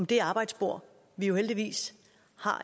det arbejdsbord vi jo heldigvis har